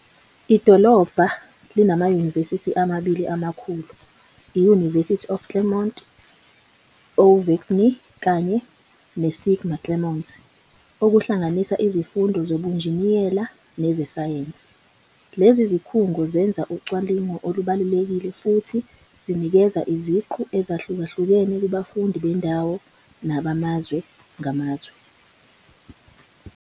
Idolobha linamanyuvesi amabili amakhulu, i-University of Clermont Auvergne kanye neSIGMA Clermont, okuhlanganisa izifundo zezobunjiniyela nezesayensi. Lezi zikhungo zenza ucwaningo olubalulekile futhi zinikeza iziqu ezahlukahlukene kubafundi bendawo nabamazwe ngamazwe.